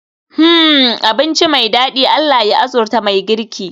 Hmmm! Abinci me dadi, Allah ya arzuta mai girki